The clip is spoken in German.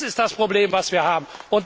Das ist das Problem, das wir haben.